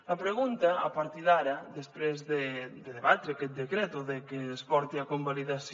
la pregunta a partir d’ara després de debatre aquest decret o de que es porti a convalidació